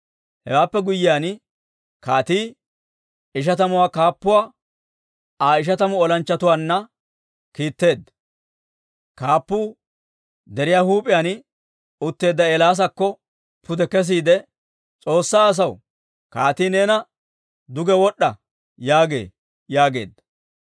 Hewaappe guyyiyaan, kaatii ishatamuwaa kaappuwaa Aa ishatamu olanchchatuwaanna kiitteedda. Kaappuu deriyaa huup'iyaan utteedda Eelaasakko pude kesiide, «S'oossaa asaw, kaatii neena, ‹Duge wod'd'a› yaagee» yaageedda.